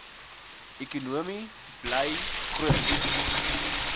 ekonomie bly grotendeels